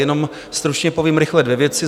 Jenom stručně povím rychle dvě věci.